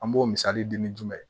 An b'o misali di ni jumɛn ye